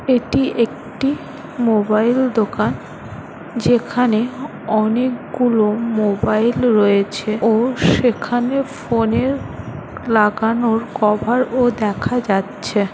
এটি একটি মোবাইল দোকান যেখানে অনেকগুলো মোবাইল রয়েছে ও সেখানে ফোনের লাগানোর কভার-ও দেখা যাচ্ছে।